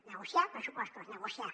negociar pressupostos negociar